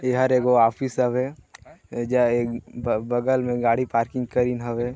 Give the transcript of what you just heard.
एहर एगो आफिस हवे एजा ए-- ए-- बगल में गाडी पार्किंग करिन हवै।